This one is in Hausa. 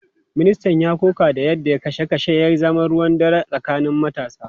Ministan ya koka da yadda kashe kashen ya zama ruwan dare tsakanin matasa.